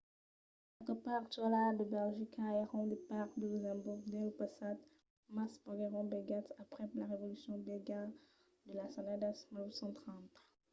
qualques parts actualas de belgica èran de parts de luxemborg dins lo passat mas venguèron bèlgas aprèp la revolucion bèlga de las annadas 1830